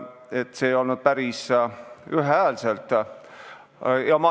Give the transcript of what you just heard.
See otsus ei olnud päris ühehäälne.